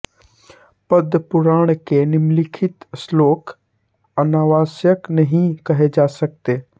पद्मपुराण के निम्नलिखित श्लोक अनावश्यक नहीं कहे जा सकते